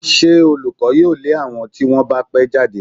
Ṣé olùkọ́ yóò lé àwọn tí wọ́n bá pẹ́ jáde?